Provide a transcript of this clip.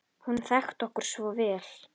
Hún þekkti okkur svo vel.